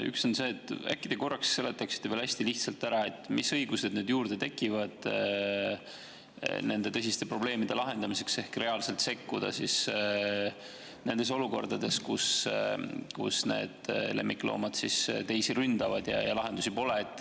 Üks on see, et äkki te seletaksite veel hästi lihtsalt ära, mis õigused juurde tekivad nende tõsiste probleemide lahendamiseks ehk reaalselt sekkumiseks olukordades, kus lemmikloomad kedagi ründavad ja lahendusi pole.